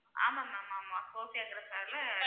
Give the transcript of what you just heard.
ஆமா ma'am ஆமா .